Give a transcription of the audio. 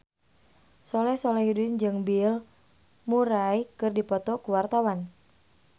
Soleh Solihun jeung Bill Murray keur dipoto ku wartawan